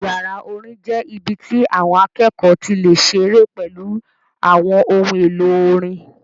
Yàrá orin jẹ́ ibi tí àwọn akẹ́kọ̀ọ́ ti lè ṣeré pẹ̀lú àwọn ohun èlò orin